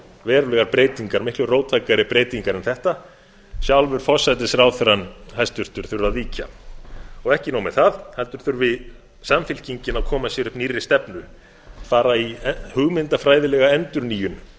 verulegar breytingar miklu róttækari breytingar en þetta sjálfur hæstvirtur forsætisráðherra þurfi að víkja ekki nóg með það heldur þurfi samfylkingin að koma sér upp nýrri stefnu fara í hugmyndafræðilega endurnýjun eins